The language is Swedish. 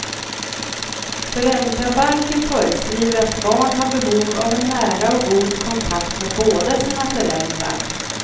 Föräldrabalken föreskriver att barn har behov av en nära och god kontakt med båda sina föräldrar.